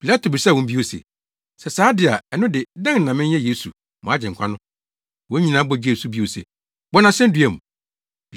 Pilato bisaa wɔn bio se, “Sɛ saa de a, ɛno de, dɛn na menyɛ Yesu, mo Agyenkwa no?” Wɔn nyinaa bɔ gyee so bio se, “Bɔ no asennua mu!”